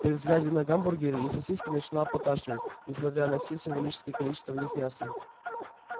при взгляде на гамбургеры и сосиски начинало поташнивать несмотря на все символическое количество в них мяса